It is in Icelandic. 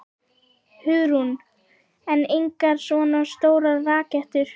Hugrún: En engar svona stórar rakettur?